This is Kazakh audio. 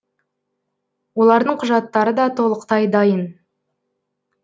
олардың құжаттары да толықтай дайын